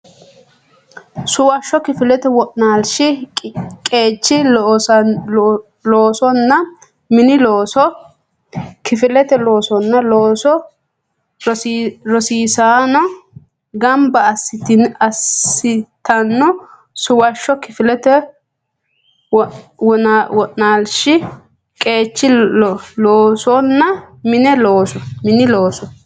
Suwashsho Kifilete wo naalshi qeechi loosonna mini looso kifilete loossanno looso rosiisaano gamba assitanno Suwashsho Kifilete wo naalshi qeechi loosonna mini looso.